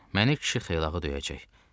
Məni kişi xeylağı döyəcək.